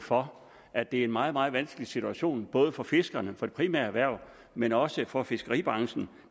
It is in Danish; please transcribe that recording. for at det er en meget meget vanskelig situation både for fiskerne for det primære erhverv men også for fiskeribranchen